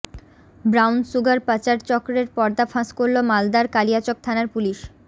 brown sugar পাচার চক্রের পর্দা ফাঁস করল মালদার কালিয়াচক থানার পুলিশ